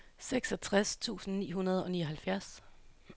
seksogtres tusind ni hundrede og nioghalvfjerds